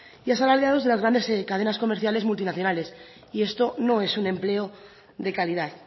y asalariados de las grandes cadenas comerciales multinacionales y esto no es un empleo de calidad